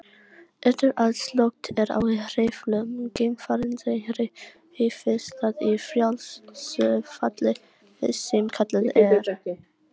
Eftir að slökkt er á hreyflum geimfarsins hreyfist það í frjálsu falli sem kallað er.